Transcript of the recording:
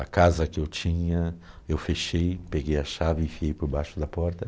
A casa que eu tinha, eu fechei, peguei a chave e enfiei por baixo da porta.